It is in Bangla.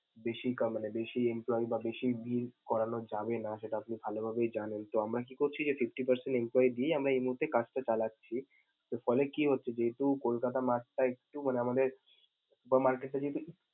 বেশি কা~ মানে বেশি employee বা বেশি view করানো যাবেনা সেটা আপনি ভালোভাবেই জানেন, তো আমরা কি করছি এই fifty percentemployee দিয়েই আমরা এই মুহুর্তেই কাজটা চালাচ্ছি. ফলে কি হচ্ছে যেহেতু কলকাতা mart টা একটু মানে আমাদের বা market টা যদি।